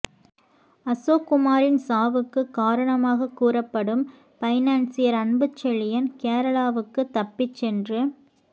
அசோக்குமாரின் சாவுக்கு காரணமாக கூறப்படும் பைனான்சியர் அன்புச்செழியன் கேரளாவுக்கு தப்பி சென்று